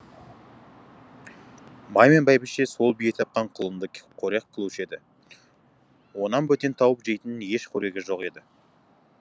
бай мен бәйбіше сол бие тапқан құлынды қорек қылушы еді онан бөтен тауып жейтін еш қорегі жоқ еді